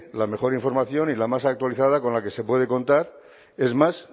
la mejor información y la más actualizada con la que se puede contar es más